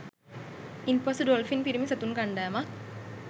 ඉන් පසු ඩොල්ෆින් පිරිමි සතුන් කණ්ඩායමක්